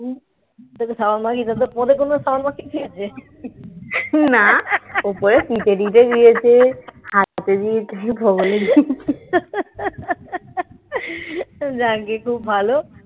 ঠিকই আছে না উপরে ফিতে দিতে দিতে খুব ভালো